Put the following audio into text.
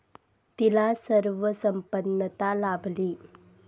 तिला सर्व संपन्नता लाभली.